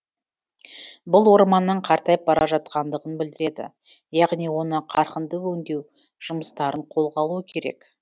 бұл орманның қартайып бара жатқандығын білдіреді яғни оны қарқынды өңдеу жұмыстарын қолға алу керек